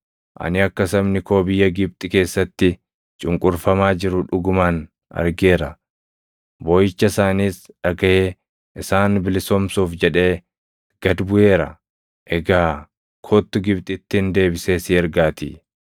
Ani akka sabni koo biyya Gibxi keessatti cunqurfamaa jiru dhugumaan argeera; booʼicha isaaniis dhagaʼee isaan bilisoomsuuf jedhee gad buʼeera; egaa kottu Gibxittin deebisee si ergaatii.’ + 7:34 \+xt Bau 3:5,7,8,10\+xt*